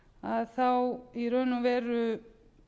að þá í raun og veru